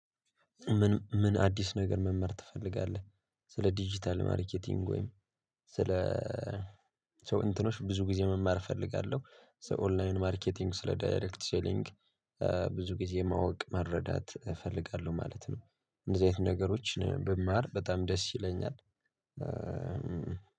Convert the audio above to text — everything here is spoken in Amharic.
ምን ምን አዲስ ነገር መማር ትፈልጋለህ? ስለ ዲጂታል ማርኬቲንግ ወይም ስለ እንትኖች ብዙ ጊዜ መማር እፈልጋለሁ ስለ ኦንላይን ማርኬቲንግ ስለ ዳይሬክት ሴሊንግ። ብዙ ጊዜ ማወቅ መረዳት እፈልጋለሁ ማለት ነው። እንደዚህ አይነት ነገሮችን ብማር በጣም ደስ ይለኛል።